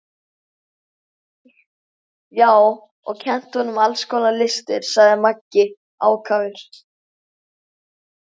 Já, og kennt honum alls konar listir, sagði Maggi ákafur.